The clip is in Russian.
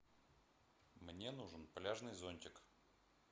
мне нужен пляжный зонтик